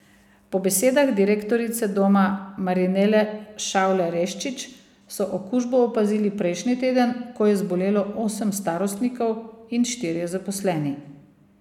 Po besedah direktorice doma Marinele Šavle Reščič so okužbo opazili prejšnji teden, ko je zbolelo osem starostnikov in štirje zaposleni.